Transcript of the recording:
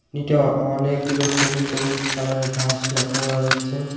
এটা অনেকগুলো সবুজ সবুজ কালারের ঘাস লক্ষ্য করা যাচ্ছে।